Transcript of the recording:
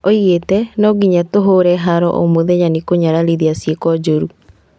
Oigĩte "No nyingagia tũũhũre haro omũthenya nĩkũnyararithia ciĩko njũru"